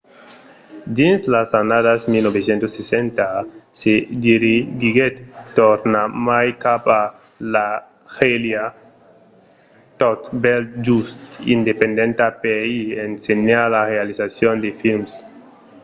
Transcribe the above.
dins las annadas 1960 se dirigiguèt tornarmai cap a l’algèria tot bèl just independenta per i ensenhar la realizacion de films